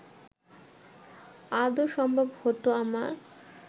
আদৌ সম্ভব হতো আমার